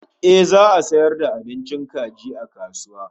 Ehh za'a sayar da abincin kaji a kasuwa